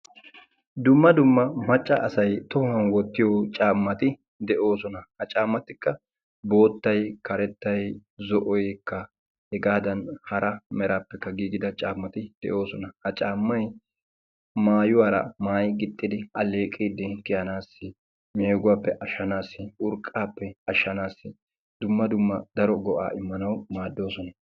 Dumma dumma macca asay tohuwan wotiyo caammati deosona. Ha caammatikka boottay karettay zo'oykka hegadan hara merappe gigida caammati deosona. Ha caammay maayuwara maayi gixxidi alleeqidi kiyanasi meeguwappe ashanasi urqqape ashanasi dumma dumma daro go'a immanasi maadosona.